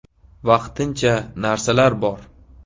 Vaqtincha narsalar bor.